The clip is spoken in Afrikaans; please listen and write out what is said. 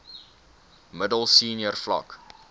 middel senior vlak